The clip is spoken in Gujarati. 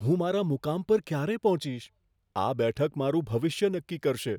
હું મારા મુકામ પર ક્યારે પહોંચીશ? આ બેઠક મારું ભવિષ્ય નક્કી કરશે.